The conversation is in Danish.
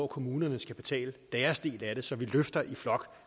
kommunerne skal betale deres del af så vi løfter i flok